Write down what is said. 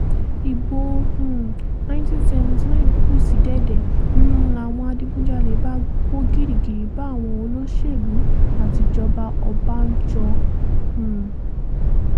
ibo um nineteen seventy nine kù sí dẹ̀dẹ̀ ń láwọn adigunjalè bá kó gìrìgìrì bá àwọn olóṣèlú àtijọba ọbànjọ́ um